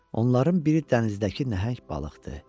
Onların biri dənizdəki nəhəng balıqdır.